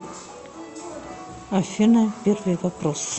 афина первый вопрос